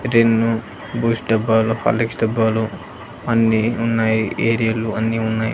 Rin Boost డబ్బాలు Horlicks డబ్బాలు అన్నీ ఉన్నాయి ఏరియలు అన్నీ ఉన్నాయి.